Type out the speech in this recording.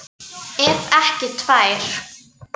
Ef ekki tvær.